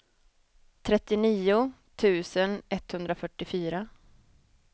trettionio tusen etthundrafyrtiofyra